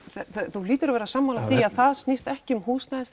þú hlítur að vera sammála því að það snýst ekki um